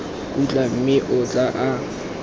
khutla mme o tloga a